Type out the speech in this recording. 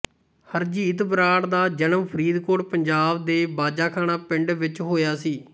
ਹਰਜੀਤ ਬਰਾੜ ਦਾ ਜਨਮ ਫਰੀਦਕੋਟ ਪੰਜਾਬ ਦੇ ਬਾਜਾਖਾਨਾ ਪਿੰਡ ਵਿਚ ਹੋਇਆ ਸੀ